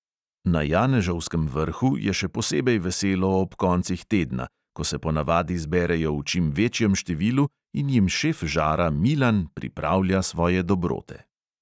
Na janežovskem vrhu je še posebej veselo ob koncih tedna, ko se ponavadi zberejo v čim večjem številu in jim šef žara milan pripravlja svoje dobrote.